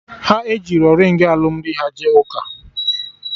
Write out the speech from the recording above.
Ha ejirọ ringị alụmdi ha jee ụka